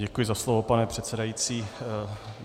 Děkuji za slovo, pane předsedající.